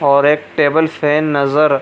और एक table fan नजर --